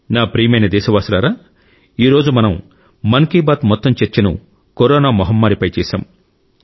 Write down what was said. నా ప్రియమైన దేశవాసులారా ఈ రోజు మనం మన్ కి బాత్ మొత్తం చర్చను కరోనా మహమ్మారిపై చేశాం